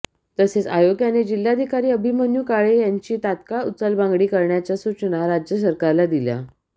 तसेच आयोगाने जिल्हाधिकारी अभिमन्यू काळे यांची तत्काळ उचलबांगडी करण्याच्या सूचना राज्य सरकारला दिल्या